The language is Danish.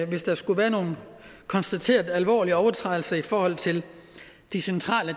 hvis der skulle være nogle konstaterede alvorlige overtrædelser i forhold til de centrale